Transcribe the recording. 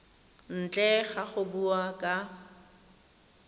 ntle ga go bua ka